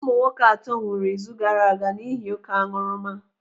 Ụmụnwoke atọ nwụrụ izu gaaraaga n'ihi oké aṅụrụma.